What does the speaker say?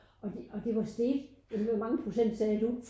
Og de og det var steget ja hvor mange procent sagde du?